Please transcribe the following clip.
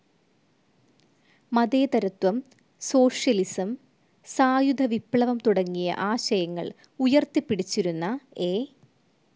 മതേതരത്വം, സോഷ്യലിസം, സായുധ വിപ്ലവം തുടങ്ങിയ ആശയങ്ങൾ ഉയർത്തിപ്പിടിച്ചിരുന്ന എ.